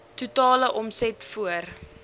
totale omset voor